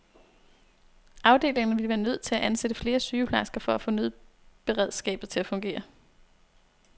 Afdelingerne ville være nødt til at ansætte flere sygeplejersker for at få nødberedskabet til at fungere.